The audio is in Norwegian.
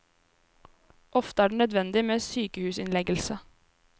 Ofte er det nødvendig med sykehusinnleggelse.